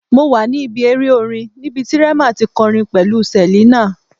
Mo wa ni ibi ere orin nibiti Rema ti kọrin pẹlu Selina